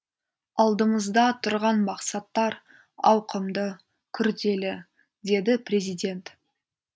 алдымызда тұрған мақсаттар ауқымды күрделі деді президент